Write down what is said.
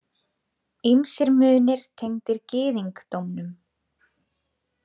Ýmsir munir tengdir gyðingdómnum.